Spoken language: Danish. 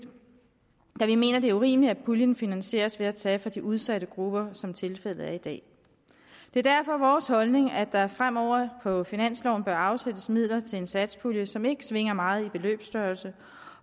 da vi mener at det er urimeligt at puljen finansieres ved at tage fra de udsatte grupper som tilfældet er i dag det er derfor vores holdning at der fremover på finansloven bør afsættes midler til en satspulje som ikke svinger meget i beløbsstørrelse